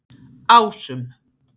Ásum